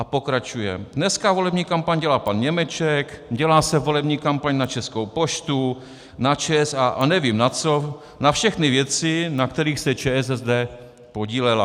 A pokračuje: "Dneska volební kampaň dělá pan Němeček, dělá se volební kampaň na Českou poštu, na ČSA a nevím na co, na všechny věci, na kterých se ČSSD podílela."